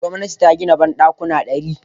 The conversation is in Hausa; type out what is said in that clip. Gwamnati ta gina banɗakuna ɗari.